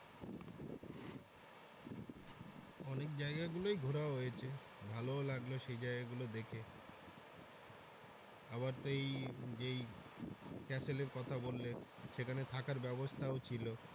অনেক জায়গা গুলোই ঘুরা হয়েছে ভালোও লাগলো সেই জায়গা গুলো দেখে আবার তো এই যেই castle এর কথা বললে সেখানে থাকার ব্যবস্থাও ছিলো।